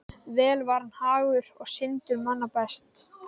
Vel var hann hagur og syndur manna best.